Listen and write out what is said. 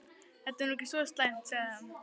Þetta er nú ekki svo slæmt sagði hann.